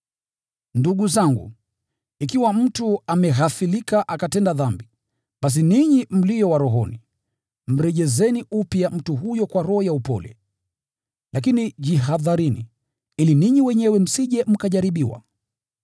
Ndugu zangu, ikiwa mtu ameghafilika akatenda dhambi, basi ninyi mlio wa rohoni, mrejesheni upya mtu huyo kwa roho ya upole. Lakini jihadharini, ili ninyi wenyewe msije mkajaribiwa.